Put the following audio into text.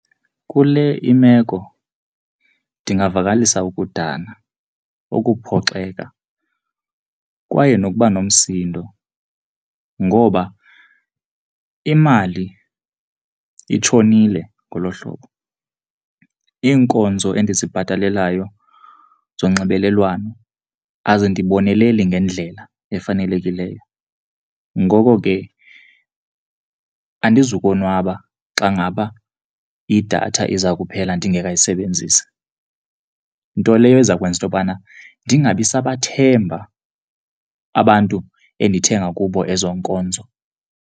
Kule imeko ndingavakalisa ukudana, ukuphoxeka kwaye nokuba nomsindo ngoba imali itshonile ngolo hlobo. Iinkonzo endizibhataleleyo zonxibelelwano azindiboneleli ngendlela efanelekileyo. Ngoko ke andizukonwaba xa ngaba idatha iza kuphela ndingekayisebenzisi, nto leyo eza kwenza into yokubana ndingabi sabathemba abantu endithenga kubo ezo nkonzo.